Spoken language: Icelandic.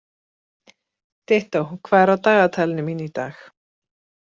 Dittó, hvað er á dagatalinu mín í dag?